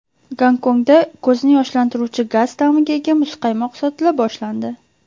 Gonkongda ko‘zni yoshlantiruvchi gaz ta’miga ega muzqaymoq sotila boshlandi.